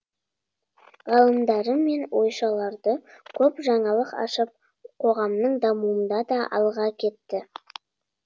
ғалымдары мен ойшылар да көп жаңалық ашып қоғамның дамуында да алға кетті